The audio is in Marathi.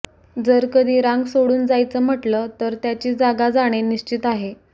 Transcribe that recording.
जर कधी रांग सोडून जायचं म्हटलं तर त्याची जागा जाणे निश्चित आहे